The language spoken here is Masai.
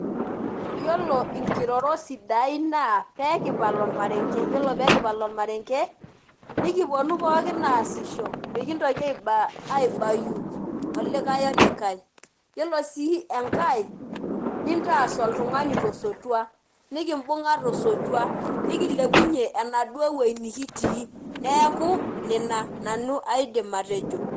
Yiolo inkirorot sidain naa pekipal ormarenke. Yiolo pekipal ormarenke, nikiponu pookin aasisho. Mikintoki aibayu olikae olikae. Yiolo si enkae, nintaas oltung'ani tosotua. Nikibung'a tosotua. Nikilepunye enaduo woi nikitii. Neeku, nena nanu aidim atejo.